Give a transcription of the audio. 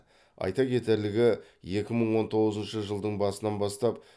айта кетерлігі екі мың он тоғызыншы жылдың басынан бастап